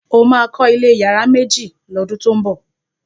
o ma kò ilé iyare méjì ló dun to ñbo!